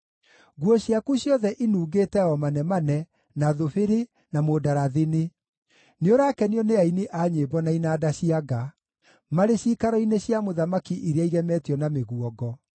Nguo ciaku ciothe inungĩte o manemane, na thubiri, na mũndarathini; nĩũrakenio nĩ aini a nyĩmbo na inanda cia nga marĩ ciikaro-inĩ cia mũthamaki iria igemetio na mĩguongo.